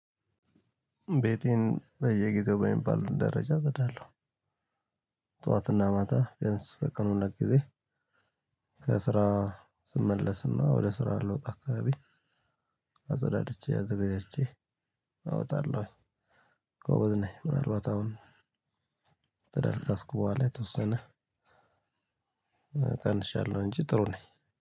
ቤቴን በየጊዜው በሚባል ደረጃ እጸዳለሁ። ጠዋትና ማታ ቢያንስ በቀን ሁለት ጊዜ። ከስራ ስመለስና ወደ ስራ ልወጣ አካባቢ አጸዳድቼ አዘጋጅቼ አወጣለሁኝ። ጎበዝ ነኝ። ምንአልባት አሁን ከደረስኩ በኋላ የተወሰነ ቀንሻለሁ እንጂ ጥሩ ነኝ።